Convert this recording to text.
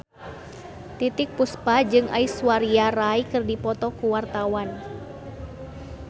Titiek Puspa jeung Aishwarya Rai keur dipoto ku wartawan